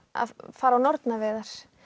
fara á nornaveiðar